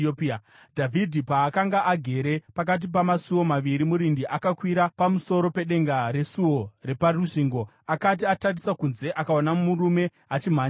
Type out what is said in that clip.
Dhavhidhi paakanga agere pakati pamasuo maviri, murindi akakwira pamusoro pedenga resuo reparusvingo. Akati atarisa kunze, akaona murume achimhanya ari oga.